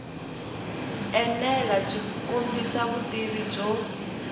enela byi kombisa vutivi byo